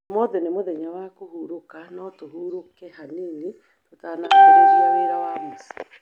Ũmũthĩ nĩ mũthenya wa kũhurũka, no tũhurũke hanini tũtanambĩrĩria wĩra wa mũciĩ